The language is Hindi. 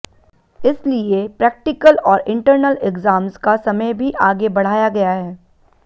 इसलिए प्रैक्टिकल और इंटर्नल एग्जाम्स का समय भी आगे बढ़ाया गया है